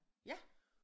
Ja